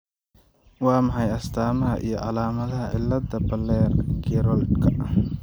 Waa maxay astamaha iyo calaamadaha cilada Baller Geroldka?